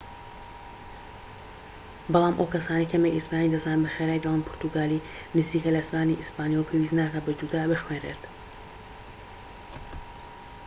بەڵام ئەو کەسانەی کەمێك ئیسپانی دەزانن بە خێرایی دەڵین پورتوگالی نزیکە لە زمانی ئیسپانیەوە و پێویست ناکات بە جودا بخوێنرێت